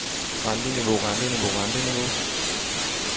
renteniveau renteniveau renteniveau